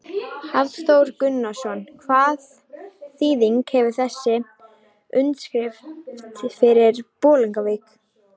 Hafþór Gunnarsson: Hvaða þýðingu hefur þessi undirskrift fyrir Bolungarvík?